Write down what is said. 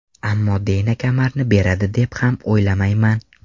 Ammo Deyna kamarni beradi deb ham o‘ylamayman.